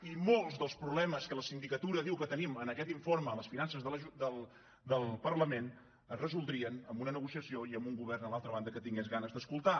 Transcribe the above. i molts dels problemes que la sindicatura diu que tenim en aquest informe a les finances del parlament es resoldrien amb una negociació i amb un govern a l’altra banda que tingués ganes d’escoltar